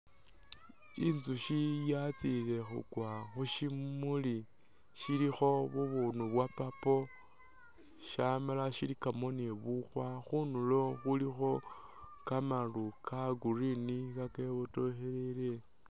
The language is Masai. Inzukhi yatsile khukwa khu shimuli shilikho bubundu bwa purple ,shamala shilikamo ni bukhwa, khundulo khulikho kamalu ka green kakebotokhelele